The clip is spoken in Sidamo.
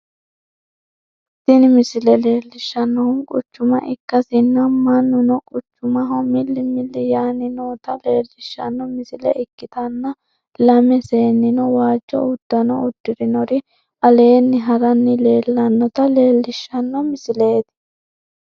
tini misile leellishannohu quchuma ikkasinna, mannuno quchumaho milli milli yaanni noota leellishanno misile ikkitanna, lame seennino waajjo uddanno uddirinori aleenni ha'ranni leellannota leellishshanno misileeti.